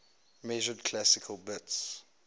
measured classical bits